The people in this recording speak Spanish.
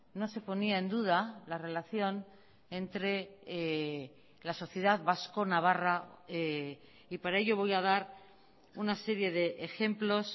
no se ponía en duda la relación entre la sociedad vasco navarra y para ello voy a dar una serie de ejemplos